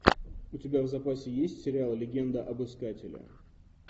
у тебя в запасе есть сериал легенда об искателе